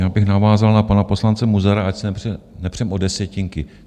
Já bych navázal na pana poslance Munzara, ať se nepřeme o desetinky.